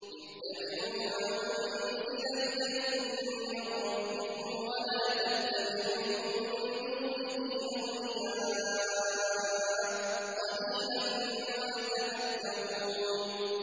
اتَّبِعُوا مَا أُنزِلَ إِلَيْكُم مِّن رَّبِّكُمْ وَلَا تَتَّبِعُوا مِن دُونِهِ أَوْلِيَاءَ ۗ قَلِيلًا مَّا تَذَكَّرُونَ